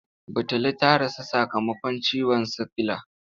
Batulu ta rasu sakamakon ciwon sikila.